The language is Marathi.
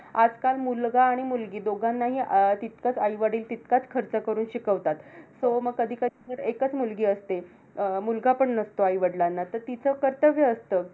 आजकाल मुलगा आणि मुलगी दोघांनाही अं तितकंच आईवडील तितकाच खर्च करून शिकवतात. So मग कधी कधी तर एकचं मुलगी असते. अं मुलगा पण नसतो आईवडिलांना. तर तिचं कर्तव्य असतं.